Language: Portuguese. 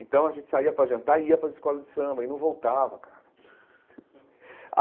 Então a gente saía para jantar e ia para as escolas de samba, e não voltava, cara.